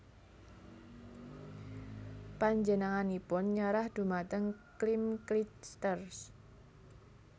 Panjenenganipun nyerah dhumateng Kim Clijsters